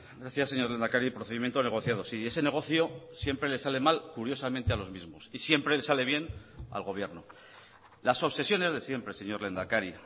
gracias señor lehendakari procedimiento negociado sí ese negocio siempre le sale mal curiosamente a los mismos y siempre le sale bien al gobierno las obsesiones de siempre señor lehendakari